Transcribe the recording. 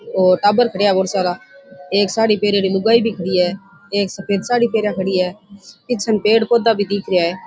और टाबर खड़ेया है बहोत सारा एक साडी पेहेनेरी लुगाई भी खड़ी है एक सफ़ेद साडी पहरिया खड़ी है पीछेन पेड़ पौधा भी दिख रेहा है।